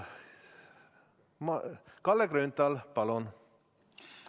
Kalle Grünthal, palun!